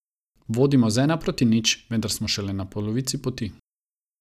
Vodimo z ena proti nič, vendar smo šele na polovici poti.